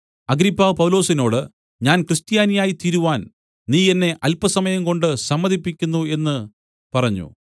Agrippa പൗലൊസിനോട് ഞാൻ ക്രിസ്ത്യാനിയായിത്തീരുവാൻ നീ എന്നെ അല്പസമയംകൊണ്ട് സമ്മതിപ്പിക്കുന്നു എന്നു പറഞ്ഞു